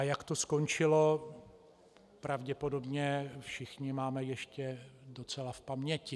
A jak to skončilo, pravděpodobně všichni máme ještě docela v paměti.